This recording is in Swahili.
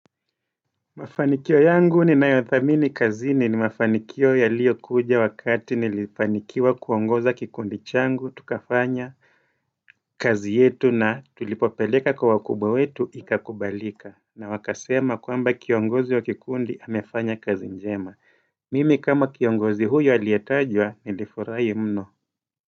Mafanikio yangu ninayothamini kazini ni mafanikio yaliyokuja wakati nilifanikiwa kuongoza kikundi changu, tukafanya kazi yetu na tulipopeleka kwa wakubwa wetu ikakubalika na wakasema kwamba kiongozi wa kikundi amefanya kazi njema Mimi kama kiongozi huyo aliyetajwa nilifurahi mno.